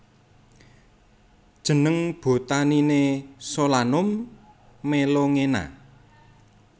Jeneng botaniné Solanum melongena